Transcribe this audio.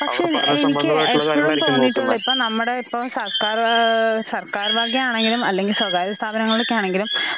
പക്ഷെ എനിക്ക് എപ്പഴും തോന്നീട്ടുള്ള ഇപ്പ നമ്മുടെ ഇപ്പം സർക്കാർവാ സർക്കാർവകയാണെങ്കിലും അല്ലെങ്കി സ്വകാര്യ സ്ഥാപനങ്ങളൊക്കെയാണെങ്കിലും